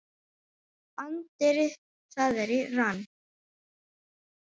Anddyri það er í rann.